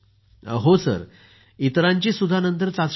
हो सर इतरांचीही नंतर चाचणी केली